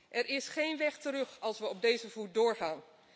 Er is geen weg terug als we op deze voet doorgaan.